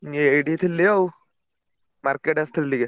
ଏଇଠି ଥିଲି ଆଉ market ଆସିଥିଲି ଟିକେ।